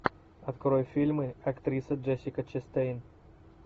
открой фильмы актриса джессика честейн